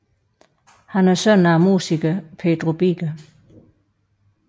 Han er søn af musikeren Pedro Biker